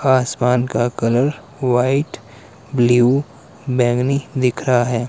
आसमान का colour white blue बैंगनी दिख रहा है।